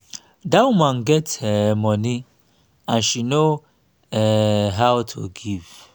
dat woman get um money and she no um how to give